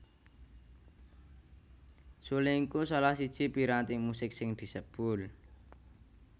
Suling iku salah siji piranti musik sing disebul